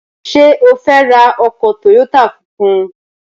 Ṣé o fẹ́ ra ọkọ̀ tòyótà funfun?